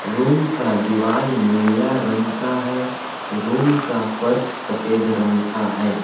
Room का दीवार नीला रंग का है रूम का फर्श सफेद रंग का है।